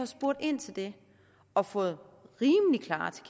spurgt ind til det og fået